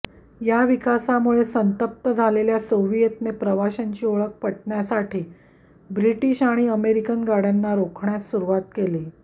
या विकासामुळे संतप्त झालेल्या सोविएतने प्रवाशांची ओळख पटण्यासाठी ब्रिटिश आणि अमेरिकन गाड्यांना रोखण्यास सुरुवात केली